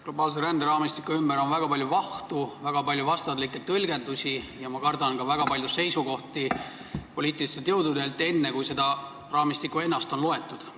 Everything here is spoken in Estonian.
Globaalse ränderaamistiku ümber on väga palju vahtu ja on väga palju vastandlikke tõlgendusi ning ma kardan, et on ka väga palju seisukohti poliitilistelt jõududelt, mis on esitatud enne, kui seda raamistikku ennast oli loetud.